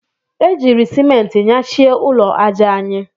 E jiiri Simenti nyachie ụlọ aja anyị.